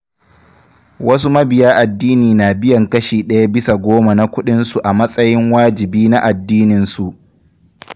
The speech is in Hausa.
Wasu mabiya addini na biyan kashi ɗaya bisa goma na kuɗinsu a matsayin wajibi na addinin su